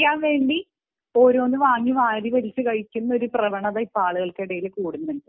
ബോധിപ്പിക്കാൻ വേണ്ടി ഓരോന്ന് വാങ്ങി കഴിക്കുന്ന ഒരു പ്രവണത ആളുകളിൽ കൂടുന്നുണ്ട്